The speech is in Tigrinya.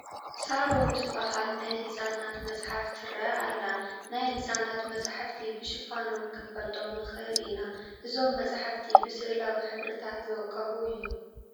ሳሮን ትበሃል ናይ ህፃናት መፅሓፍ ትርአ ኣላ፡፡ ናይ ህፃናት መፃሕፍቲ ብሽፋኖም ክንፈልጦም ንኽእል ኢና፡፡ እዞም መፃሕፍቲ ብስእላዊ ሕብርታት ዝወቀቡ እዮም፡፡